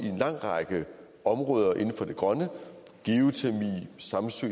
en lang række områder inden for det grønne geotermi samsø